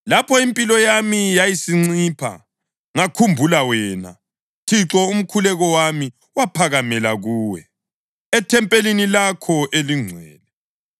Lapho impilo yami yayisincipha, ngakhumbula wena, Thixo, umkhuleko wami waphakamela kuwe, ethempelini lakho elingcwele.